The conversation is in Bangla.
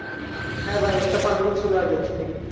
হ্যাঁ ভাই একটা পালকি ছিল আগে। চিনি।